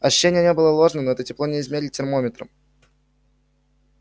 ощущение не было ложным но это тепло не измерить термометром